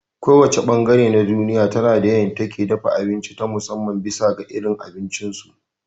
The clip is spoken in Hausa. Ko wace ɓangaren duniya tana da yadda ake dafa abinci ta musamman bisa ga irin abincin su